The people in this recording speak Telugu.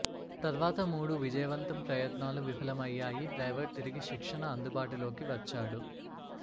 తర్వాత మూడు విజయవంతం ప్రయత్నాలు విఫలమయ్యాయి డ్రైవర్ తిరిగి శిక్షణ అందుబాటులోకి వచ్చాడు